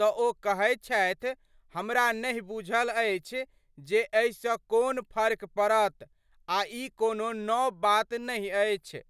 त ओ कहैत छथि, "हमरा नहिं बुझल अछि जे एहि सं कोन फर्क पड़त आ ई कोनो नव बात नहिं अछि।